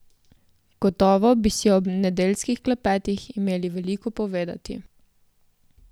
Gotovo bi si ob nedeljskih klepetih imeli veliko povedati.